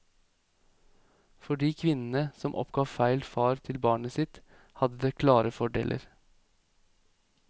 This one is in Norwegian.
For de kvinnene som oppgav feil far til barnet sitt hadde det klare fordeler.